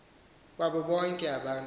wabo bonke abantu